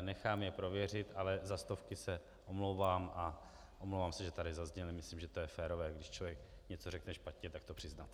nechám je prověřit, ale za stovky se omlouvám a omlouvám se, že tady zazněly, myslím, že to je férové, když člověk něco řekne špatně, tak to přiznat.